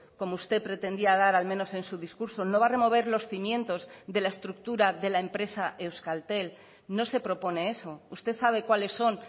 como usted pretendía dar al menos en su discurso no va a remover los cimientos de la estructura de la empresa euskaltel no se propone eso usted sabe cuáles son